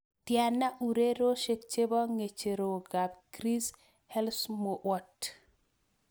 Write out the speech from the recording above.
Tyana ureryosiek che po ng'echerokap Chris Helmsworth